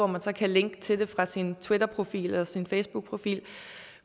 man så kan linke til fra sin twitterprofil eller fra sin facebookprofil